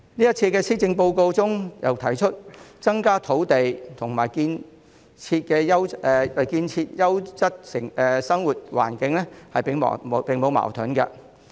主席，這次施政報告又提出，增加土地和建設優質生活環境並無矛盾。